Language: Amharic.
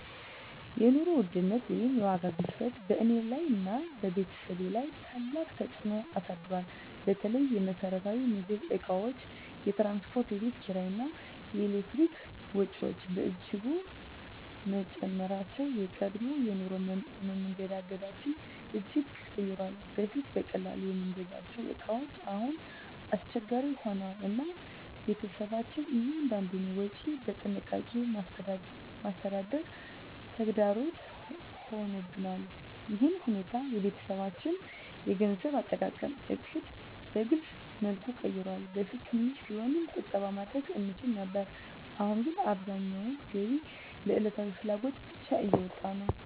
የኑሮ ውድነት ወይም የዋጋ ግሽበት በእኔና በቤተሰቤ ላይ ታላቅ ተፅዕኖ አሳድሯል። በተለይ የመሰረታዊ ምግብ እቃዎች፣ የትራንስፖርት፣ የቤት ኪራይ እና የኤሌክትሪክ ወጪዎች በእጅጉ መጨመራቸው የቀድሞ የኑሮ መንገዳችንን እጅግ ቀይሯል። በፊት በቀላሉ የምንገዛቸው እቃዎች አሁን አስቸጋሪ ሆነዋል፣ እና ቤተሰባችን እያንዳንዱን ወጪ በጥንቃቄ ማስተዳደር ተግዳሮት ሆኖብናል። ይህ ሁኔታ የቤተሰባችንን የገንዘብ አጠቃቀም ዕቅድ በግልፅ መልኩ ቀይሯል። በፊት ትንሽ ቢሆንም ቁጠባ ማድረግ እንችል ነበር፣ አሁን ግን አብዛኛው ገቢ ለዕለታዊ ፍላጎት ብቻ እየወጣ ነው።